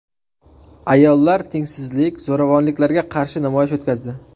Ayollar tengsizlik, zo‘ravonliklarga qarshi namoyish o‘tkazdi.